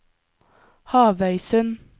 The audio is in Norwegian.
Havøysund